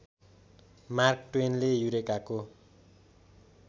mark ट्वेनले यूरेकाको